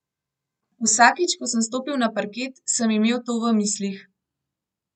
Vsakič, ko sem stopil na parket, sem imel to v mislih.